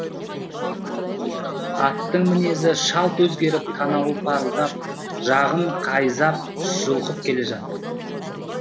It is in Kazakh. аттың мінезі шалт өзгеріп танауы парылдап жағын қайзап жұлқып келе жатыр